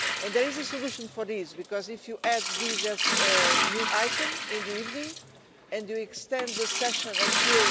There is a solution for this, because if you add this as a new item in the evening and you extend the session until